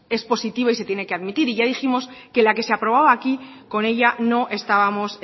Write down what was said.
es positiva y se tiene que admitir y ya dijimos que la que se aprobaba aquí con ella no estábamos